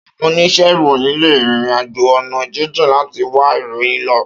Áwòn óníṣè iróyin lé ririnàjó òná jìnjín làtí wá iróyin lò